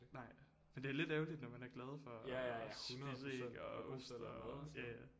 Nej for det er lidt ærgerligt når man er glad for at spise æg og ost og ja ja